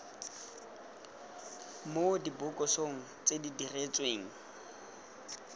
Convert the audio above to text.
mo dibokosong tse di diretsweng